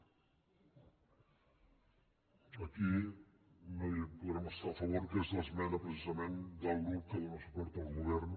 aquí no hi podrem estar a favor que és l’esmena precisament del grup que dóna suport al govern